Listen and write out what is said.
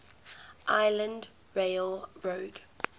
island rail road